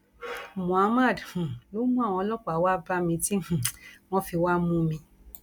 muhammad um ló mú àwọn ọlọpàá wàá bá mi tí um wọn fi wàá mú mi